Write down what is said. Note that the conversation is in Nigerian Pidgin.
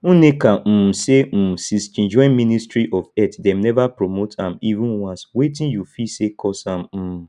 nneka um say um since she join ministry of health dem never promote am even once wetin you feel say cause am um